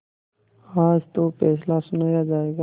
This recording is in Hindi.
आज तो फैसला सुनाया जायगा